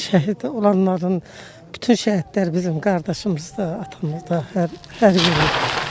şəhid olanların, bütün şəhidlər bizim qardaşımızdır, atamızdır, hər biri.